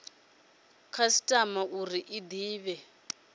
khasitama uri i de vha